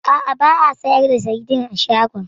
A'a, ba a sayar da saidin a shagon.